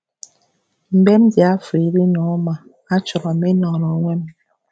Mgbe m dị afọ iri na ụma, achọrọ m ịnọrọ onwe m.